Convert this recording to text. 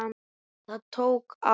Það tók á.